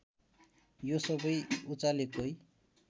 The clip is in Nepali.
यो सबै उचालेकै